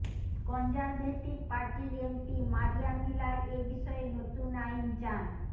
conservative পার্টির MP Maria Miller এ বিষয়ে নতুন আইন চান